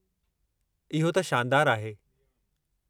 इहो त शानदारु आहे!